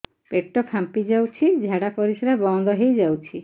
ପେଟ ଫାମ୍ପି ଯାଉଛି ଝାଡା ପରିଶ୍ରା ବନ୍ଦ ହେଇ ଯାଉଛି